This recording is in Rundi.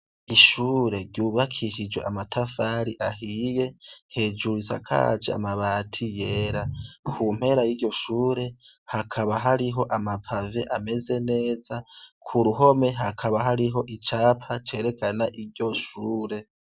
Ishure ryubakishijwe amatafari ahiye, hejuru risakaje amabati yera, ku mpera y'iryo shure hakaba hari amapave ameze neza, ku ruhome hakaba hariho icapa cerekana iryo shure.